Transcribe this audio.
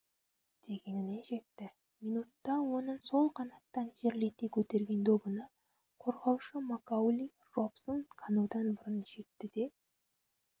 дегеніне жетті минутта оның сол қанаттан жерлете көтерген добына қорғаушы макаули робсон-канудан бұрын жетті де